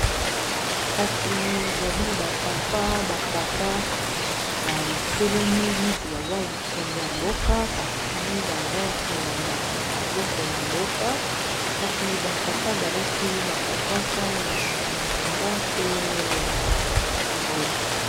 kasi ezali ba papa, ba Tata, batelemi neti baza bamikonzo ya mboka. kasi baza kolandala biloko ya mboka, kasi ba Tata balati ba kazaka ya bozinga pe ya mbwe!